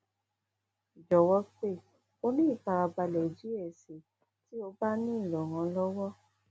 jọwọ pe o ni ifarabalẹ diẹ sii ti o ba nilo iranlọwọ